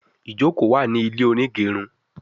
ìjoko wá ní ilé onigerun